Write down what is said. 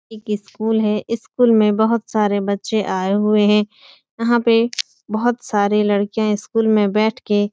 एक इस्कूल है। इस्कूल में बोहोत सारे बच्चे आये हुए हैं। यहाँ पे बोहोत सारी लड़कियाँ इस्कूल में बैठके --